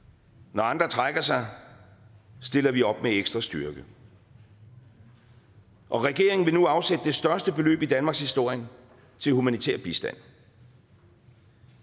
når andre trækker sig stiller vi op med ekstra styrke og regeringen vil nu afsætte det største beløb i danmarkshistorien til humanitær bistand